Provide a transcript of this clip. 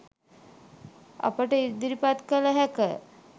අපට ඉදිරිපත් කළ හැක.